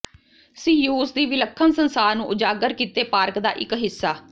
ਸੀਯੂਸ ਦੀ ਵਿਲੱਖਣ ਸੰਸਾਰ ਨੂੰ ਉਜਾਗਰ ਕੀਤੇ ਪਾਰਕ ਦਾ ਇੱਕ ਹਿੱਸਾ